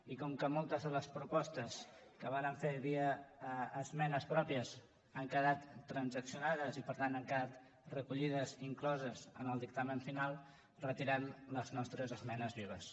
i com que moltes de les propostes que vàrem fer via esmenes pròpies han quedat transaccionades i per tant han quedat recollides i incloses en el dictamen final retirem les nostres esmenes vives